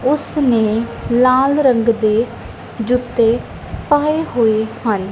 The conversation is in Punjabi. ਉਸ ਨੇ ਲਾਲ ਰੰਗ ਦੇ ਜੁੱਤੇ ਪਾਏ ਹੋਏ ਹਨ।